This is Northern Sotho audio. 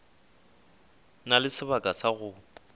na le sebaka sa go